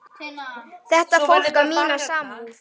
Þetta fólk á mína samúð.